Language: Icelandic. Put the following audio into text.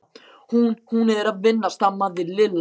Hún. hún er að vinna stamaði Lilla.